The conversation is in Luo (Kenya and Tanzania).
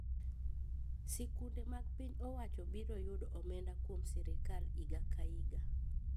Sikunde mag piny owacho biro yudo omenda kuom sirkal iga ka iga